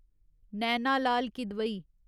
Naina Lal Kidwai